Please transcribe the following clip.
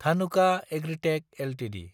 Dhanuka agritech Ltd